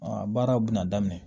baaraw bɛna daminɛ